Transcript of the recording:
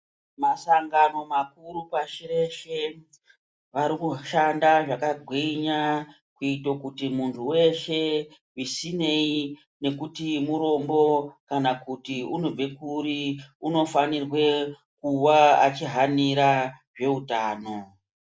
Masangano makuru pashi reshe, vari kushanda zvakagwinya kuite kuti muntu weshe zvisineyi ngekuti mutombo kana kuti unobve kuri, unofanirwe kuva achihanira zveutano.